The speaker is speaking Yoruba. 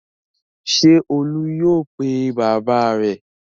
Ṣé Olú yóò pe bàbá rẹ̀?